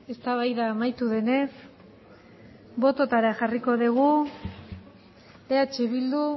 eztabaida amaitu denez bototara jarriko dugu eh bildu